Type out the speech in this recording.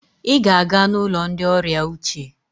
Ị ga-aga n'ụlọ ndị ọrịa uche!